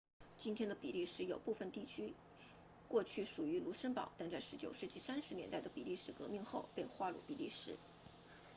今天的比利时有部分地区过去属于卢森堡但在19世纪30年代的比利时革命后被划入比利时